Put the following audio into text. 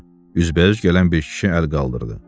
Üzbəüz gələn bir kişi əl qaldırdı.